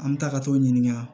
An bɛ taa ka t'o ɲininka